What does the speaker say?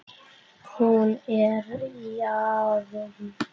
Hún er hafin.